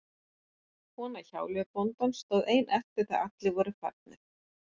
Kona hjáleigubóndans stóð ein eftir þegar allir voru farnir.